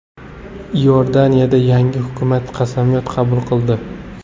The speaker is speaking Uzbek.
Iordaniyada yangi hukumat qasamyod qabul qildi.